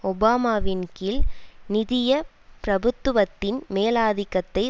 ஒபாமாவின்கீழ் நிதிய பிரபுத்துவத்தின் மேலாதிக்கத்தை